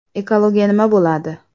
Ekologiya nima bo‘ladi?